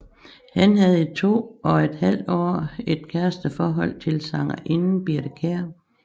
Han havde i to og et halvt år et kæresteforhold til sangerinden Birthe Kjær